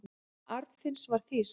Kona Arnfinns var þýsk.